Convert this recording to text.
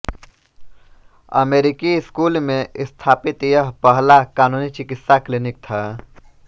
अमेरिकी स्कूल में स्थापित यह पहला कानूनी चिकित्सा क्लिनिक था